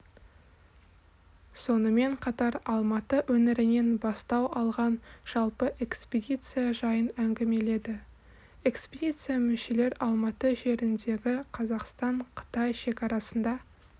сонымен қатар алматы өңірінен бастау алған жалпы экспедиция жайын әңгімеледі экспедиция мүшелері алматы жеріндегі қазақстан-қытай шекарасында